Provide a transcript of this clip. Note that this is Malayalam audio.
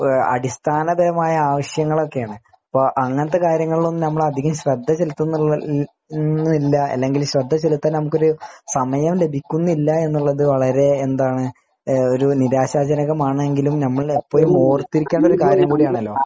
അടിസ്ഥാനപരമായ ആവശ്യങ്ങളൊക്കെയാണ് അങ്ങനെത്തെ കാര്യങ്ങളിൽ നമ്മൾ ശ്രദ്ധ ചെലുത്തിനില്ല അല്ലെങ്കിൽ ശ്രദ്ധ ചെലുത്തൽ നമ്മുക്കൊരു സമയം ലഭിക്കുന്നില്ല എന്നുള്ളത് വളരെ എന്താണ് ഒരു നിരാശാജനകമാണെങ്കിലും നമ്മൾ ഇപ്പോഴും ഓർത്തിരിക്കേണ്ട ഒരു കാര്യം കൂടിയാണല്ലോ